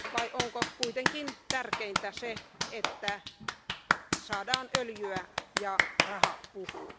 Vai onko kuitenkin tärkeintä se, että saadaan öljyä ja raha puhuu?